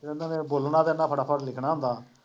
ਉਹਨਾਂ ਨੇ ਬੋਲਣਾ ਤੇ ਇਹਨਾਂ ਫਟਾਫਟ ਲਿਖਣਾ ਹੁੰਦਾ।